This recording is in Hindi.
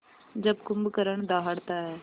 जब कुंभकर्ण दहाड़ता है